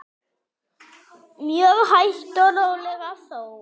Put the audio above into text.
Mjög hægt og rólega þó.